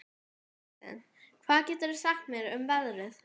Kristin, hvað geturðu sagt mér um veðrið?